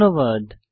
ধন্যবাদ